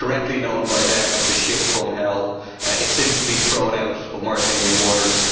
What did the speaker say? It was correctly known by them as the ship from hell, and it has since been thrown out of Mauritanian waters.